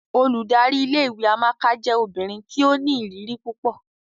Óludari ìlé-ìwé Amaka jẹ obinrin ti o ni iriri pupọ.